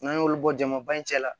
N'an y'olu bɔ jama ba in cɛ la